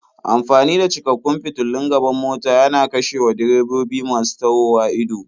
Amfani da cikakkun fitulun gaban mota yana kashewa direbobi masu tahowa ido.